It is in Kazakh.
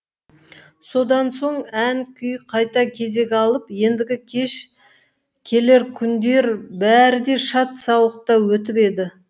содан соң ән күй қайта кезек алып ендігі кеш келер күндер бәрі де шат сауықта өтіп еді